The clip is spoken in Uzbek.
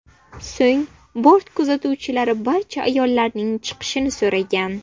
So‘ng bort kuzatuvchilari barcha ayollarning chiqishini so‘ragan.